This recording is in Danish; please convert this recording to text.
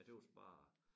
Jeg tøs bare